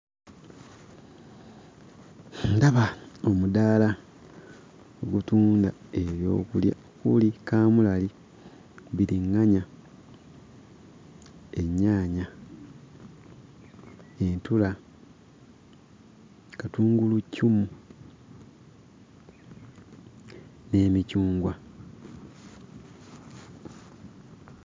Ndaba omudaala ogutunda ebyokulya okuli kaamulali, bbiriŋŋanya, ennyaanya, entula, katunguluccumu n'emicungwa.